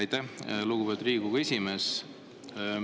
Aitäh, lugupeetud Riigikogu esimees!